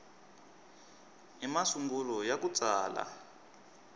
i masungulo ya ku tsala